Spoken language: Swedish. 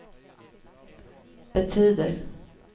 betyder